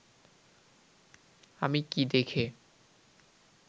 আমি কি দেখে